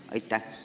Aitäh!